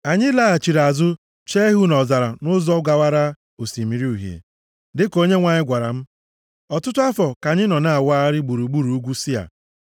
Anyị laghachiri azụ chee ihu nʼọzara nʼụzọ gawara Osimiri Uhie, dịka Onyenwe anyị gwara m. Ọtụtụ afọ ka anyị nọ na-awagharị gburugburu ugwu Sia.